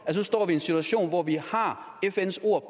nu står vi i en situation hvor vi har fns ord